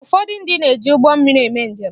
Ụfọdụ ndị na-eji ụgbọ mmiri eme njem.